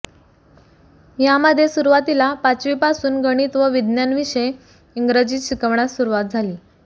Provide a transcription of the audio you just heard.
यामध्ये सुरुवातीला पाचवीपासून गणित व विज्ञान विषय इंग्रजीत शिकविण्यास सुरुवात झाली